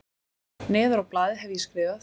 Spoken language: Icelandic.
Neðar á blaðið hef ég skrifað